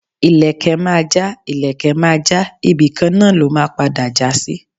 ìlekẹ̀ Maja, ìlekẹ̀ Maja, ibíkan na lọ́ ma pada jasí